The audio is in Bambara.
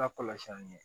Lakɔlɔsili ye